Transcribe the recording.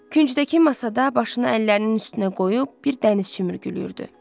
Küncdəki masada başını əllərinin üstünə qoyub bir dənizçi mürgülüyürdü.